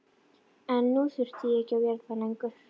En nú þurfti ég ekki að vera það lengur.